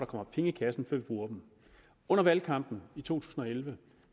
kommer penge i kassen før vi bruger dem under valgkampen i to tusind og elleve